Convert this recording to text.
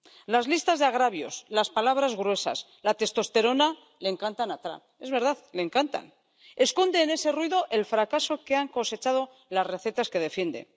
Las listas de agravios, las palabras gruesas, la testosterona le encantan a Trump —es verdad, le encantan—, pero esconde en ese ruido el fracaso que han cosechado las recetas que defiende.